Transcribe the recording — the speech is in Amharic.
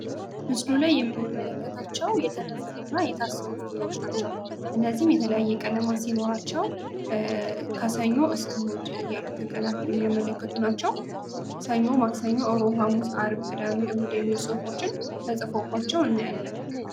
ምስሉ ላይየምንመለከታቸው የተነፉ እና የታሰሩ ፊኛዎች ናቸው ። እነዚህም የተለያየ ቀለማት ሲኖራቸው ከሰኞ እስከ እሁድ ያሉትን ቀናት የሚያመለክቱ ናቸው :: ሰኞ ፣ማክሰኞ፣ አሮብ ፣ሐሙስ፣ አርብ ፣ቅዳሜ፣ እሁድ የሚል ፅፎችን ተፅፎባቸው እናያለን ::